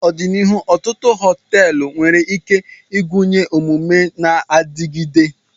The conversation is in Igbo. N'ọdịnihu, ọtụtụ họteelu nwere ike ịgụnye omume na-adigide.